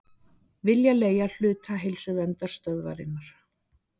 Vilja leigja hluta Heilsuverndarstöðvarinnar